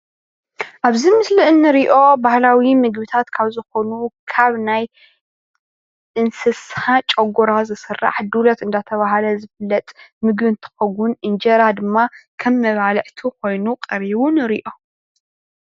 ኣብዚ ምስሊ እንርእዮ ባህላዊ መግብታት ካብ ዝኾኑ ካብ ናይ እንስሳ ጨጎራ ዝስራሕ ዱለት እንዳተባህለ ዝፍለጥ ምግቢ እንትኽውን እንጀራ ድማ ከም ምባልዕቱ ኮይኑ ቀሪቡ ንሪኦ።